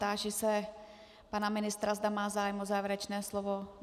Táži se pana ministra, zda má zájem o závěrečné slovo.